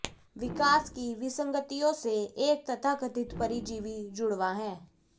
विकास की विसंगतियों से एक तथाकथित परजीवी जुड़वां है